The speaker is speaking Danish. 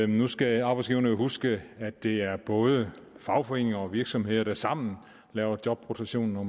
nu skal arbejdsgiverne jo huske at det er både fagforeninger og virksomheder der sammen laver jobrotation og